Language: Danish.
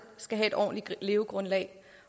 skal have et ordentligt levegrundlag